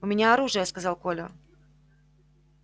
у меня оружие сказал коля